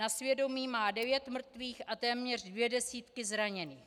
Na svědomí má devět mrtvých a téměř dvě desítky zraněných.